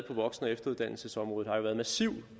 på voksen og efteruddannelsesområdet har jo været massiv